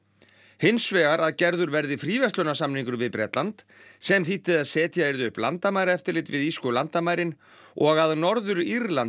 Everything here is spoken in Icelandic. hins vegar að gerður verði fríverslunarsamningur við Bretland sem þýddi að setja yrði upp landamæraeftirlit við írsku landamærin og að Norður Írland